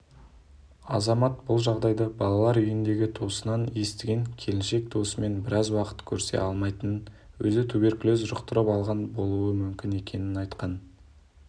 азамат бұл жағдайды балалар үйіндегі туысынан естіген келіншек туысымен біраз уақыт көрісе алмайтынын өзі туберкулез жұқтырып алған болуы мүмкін екенін айтқан